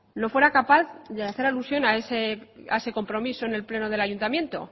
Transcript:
no fuera capaz de hacer alusión a ese compromiso en el pleno del ayuntamiento